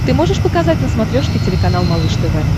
ты можешь показать на смотрешке телеканал малыш тв